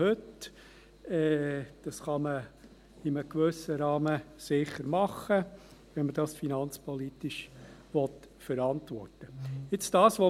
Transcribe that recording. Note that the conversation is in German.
Dies kann man in einem gewissen Rahmen sicher tun, wenn man dies finanzpolitisch verantworten will.